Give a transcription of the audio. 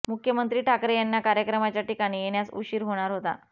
मुख्यमंत्री ठाकरे यांना कार्यक्रमाच्या ठिकाणी येण्यास उशीर होणार होता